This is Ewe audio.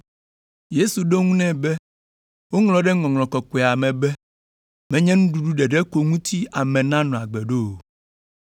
Yesu ɖo eŋu nɛ be, “Woŋlɔ ɖe Ŋɔŋlɔ Kɔkɔea me be, Menye nuɖuɖu ɖeɖe ko ŋuti ame nanɔ agbe ɖo o.”